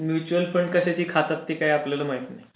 Mutual fund कशाची खातात ते काय आपल्याला माहित नाही.